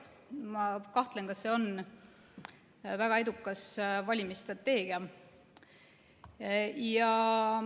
Ma kahtlen, kas see on väga edukas valimisstrateegia.